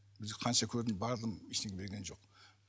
қанша көрдім бардым ештеңе берген жоқ